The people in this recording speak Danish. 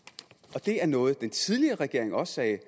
og det er noget den tidligere regering også sagde